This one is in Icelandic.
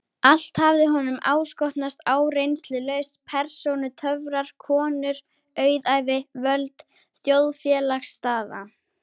Allt hafði honum áskotnast áreynslulaust: persónutöfrar, konur, auðæfi, völd, þjóðfélagsstaða.